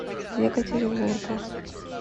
екатеринбургу